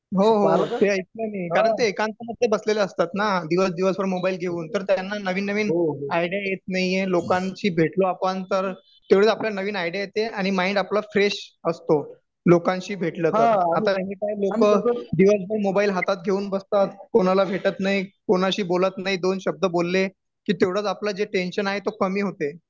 हो हो हो हे ऐकलंय मी अरे ते एकांत मधे बसलेले असतात ना दिवस दिवसभर मोबाईल घेऊन तर त्यांना नवीन नवीन आयडिया येत नाहीये लोकांशी भेटू आपण तर तेवढीच आपल्याला नवीन आयडिया येते आणि माईंड आपला फ्रेश असतो. लोकांशी भेटलं तर आता एनीटाईम दिवसभर मोबाईल हातात घेऊन बसतात कोणाला भेटत नाही कोणाशी बोलत नाही दोन शब्द बोलले की तेवढंच आपलं जे टेन्शन आहे ते कमी होते.